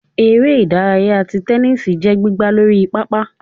ère idàráyá tí tẹnisi jẹ gbìgbá Lorí pápá